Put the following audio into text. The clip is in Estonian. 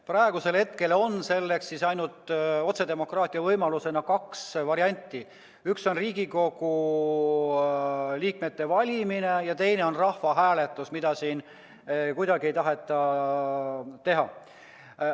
Praegu on otsedemokraatia võimalustena ainult kaks varianti: üks on Riigikogu liikmete valimine ja teine on rahvahääletus, mida siin kuidagi ei taheta teha.